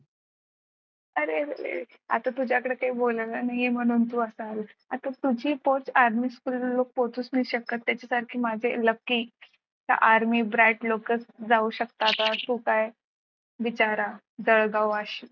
अरे अरे आता तुझ्याकडे बोलायला नाही आहे म्हणून तू असा आला आता तुझी पोहोच army school पोहोचू नाही शकत त्याच्यासारखे माझे lucky army जाऊ शकतात अन तू पाय बिचारा जळगाव वाशी